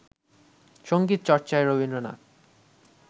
সঙ্গীতচর্চায় Rabindranath